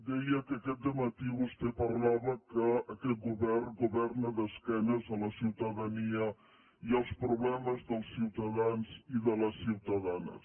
deia que aquest de·matí vostè parlava que aquest govern governa d’esque·nes a la ciutadania i als problemes dels ciutadans i de les ciutadanes